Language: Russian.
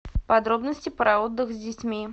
подробности про отдых с детьми